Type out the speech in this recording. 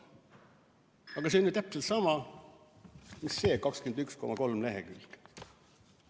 Aga see on ju täpselt sama, mida selle 21,3 lehekülje kohta.